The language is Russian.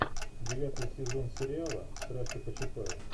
девятый сезон сериала страсти по чапаю